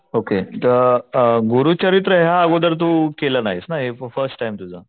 Okay तर गुरुचरित्र याआधी तू केलं नाहीस ना हे फर्स्ट टाइम तुझं?